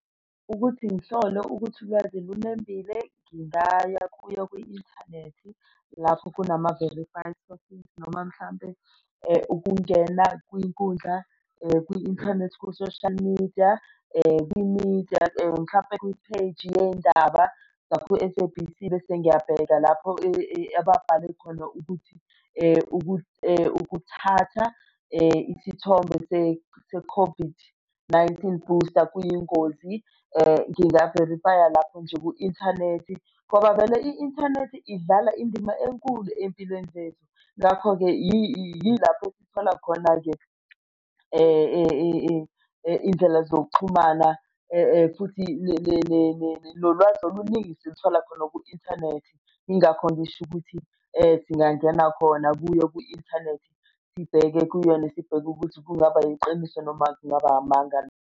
Ukuthi ngihlole ukuthi ulwazi lunembile ngingaya kuyo kwi-inthanethi lapho kunama-verify selfies noma mhlampe ukungena kwinkundla kwi-inthanethi ku-social media kwi-media mhlampe kwipheji yey'ndaba zaku-S_A_B_C bese ngyabheka lapho abatshale khona ukuthi ukuthatha isithombe se-COVID-19 booster kuyingozi. Nginga verifaya lapho nje ku-inthanethi ngoba vele i-inthanethi idlala indima enkulu ey'mpilweni zethu. Ngakho-ke yilapho sithola khona nje iy'ndlela zokuxhumana futhi nolwazi oluningi silithole khona ku-inthanethi, yingakho ngisho ukuthi singangena khona kuyo kwi-inthanethi sibheke kuyona, sibheke ukuthi kungaba yiqiniso noma kungaba amanga.